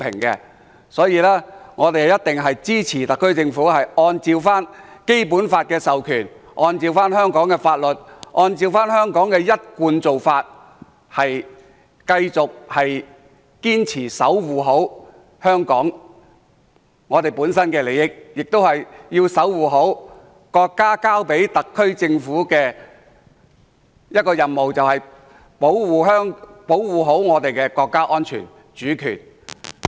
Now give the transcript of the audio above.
因此，我們一定支持特區政府按照《基本法》的授權，按照香港法律，按照香港的一貫做法，堅持好好守護香港本身的利益，亦要好好守護國家交給特區政府的任務，那就是好好保護我們的國家安全和主權。